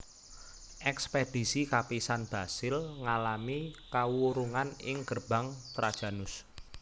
Ekspedisi kapisan Basil ngalami kawurungan ing Gerbang Trajanus